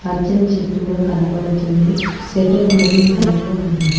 పచ్చని చెట్టు కూడా కనబడుతుంది స్వెటర్ మెరూన్ కలర్ లో ఉన్నది.